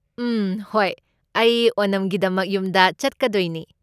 ꯎꯝ, ꯍꯣꯏ, ꯑꯩ ꯑꯣꯅꯝꯒꯤꯗꯃꯛ ꯌꯨꯝꯗ ꯆꯠꯀꯗꯣꯏꯅꯤ꯫